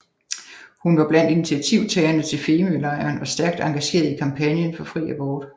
Hun var blandt initiativtagerne til Femølejren og stærkt engageret i kampagnen for fri abort